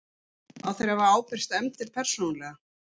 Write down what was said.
að þeir hafi ábyrgst efndir persónulega.